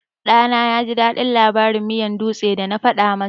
Ɗana yaji daɗin labarin miyan dutse da na faɗa masa.